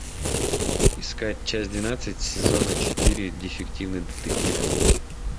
искать часть двенадцать сезона четыре дефективный детектив